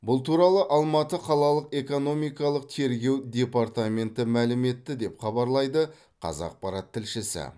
бұл туралы алматы қалалық экономикалық тергеу департаменті мәлім етті деп хабарлайды қазақпарат тілшісі